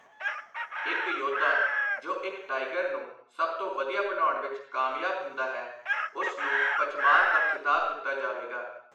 ਇੱਕ ਯੋਧਾ ਜੋ ਇੱਕ ਟਾਈਗਰ ਨੂੰ ਸਭ ਤੋਂ ਵਧੀਆ ਬਣਾਉਣ ਵਿੱਚ ਕਾਮਯਾਬ ਹੁੰਦਾ ਹੈ, ਉਸ ਨੂੰ 'ਪਚਮਾਰ' ਦਾ ਖ਼ਿਤਾਬ ਦਿੱਤਾ ਜਾਵੇਗਾ।